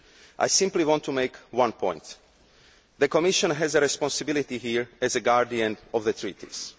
I simply want to make one point the Commission has the responsibility here as the guardian of the treaties.